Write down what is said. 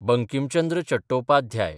Bankim Chandra Chattopadhyay